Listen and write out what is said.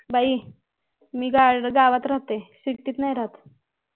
बाई मी गवत राहते city त नाही राहत